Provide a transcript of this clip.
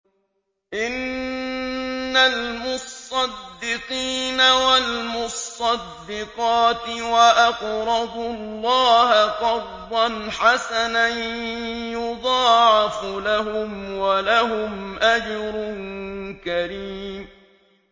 إِنَّ الْمُصَّدِّقِينَ وَالْمُصَّدِّقَاتِ وَأَقْرَضُوا اللَّهَ قَرْضًا حَسَنًا يُضَاعَفُ لَهُمْ وَلَهُمْ أَجْرٌ كَرِيمٌ